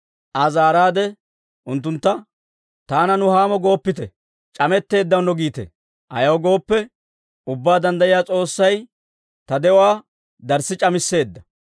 Aa zaaraade unttuntta, «Taana, Nuhaamo gooppite; ‹C'ametteedaanne› giite. Ayaw gooppe, Ubbaa Danddayiyaa S'oossay ta de'uwaa darssi c'amisseedda.